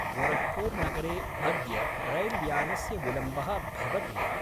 गोरख्पूर्नगरे अद्य रैल्यानस्य विलम्बः भवति वा?